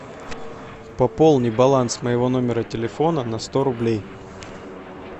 пополни баланс моего номера телефона на сто рублей